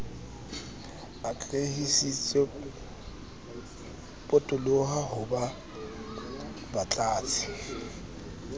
atlehisitswe potoloha ho ba batlatsi